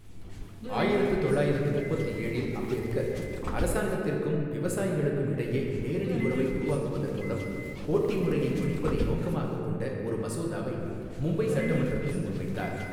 ஆயிரத்து தொள்ளாயிரத்து முப்பத்து ஏழில் அம்பேத்கர், அரசாங்கத்திற்கும் விவசாயிகளுக்கும் இடையே நேரடி உறவை உருவாக்குவதன் மூலம் கோட்டி முறையை ஒழிப்பதை நோக்கமாகக் கொண்ட ஒரு மசோதாவை மும்பை சட்டமன்றத்தில் முன்வைத்தார்.